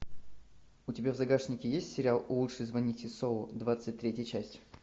у тебя в загашнике есть сериал лучше звоните солу двадцать третья часть